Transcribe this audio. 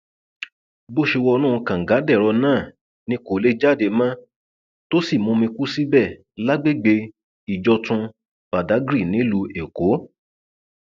bó ṣe wọnú kàngadẹrọ náà ni kò lè jáde mọ tó sì mumi kú síbẹ lágbègbè ìjọtún badàgry nílùú èkó